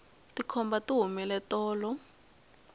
tikhomba ti humile tolo